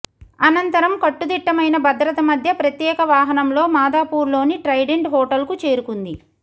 అనంతరం కట్టుదిట్టమైన భద్రత మధ్య ప్రత్యేక వాహనంలో మాదాపూర్లోని ట్రైడెంట్ హోటల్కు చేరుకుంది